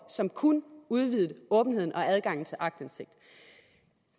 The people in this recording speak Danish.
som kun udvidede åbenheden og adgangen til aktindsigt